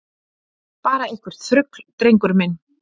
Bara eitthvert þrugl, drengur minn.